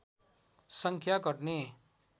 सङ्ख्या घट्ने